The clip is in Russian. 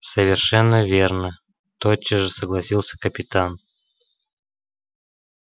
совершенно верно тотчас же согласился капитан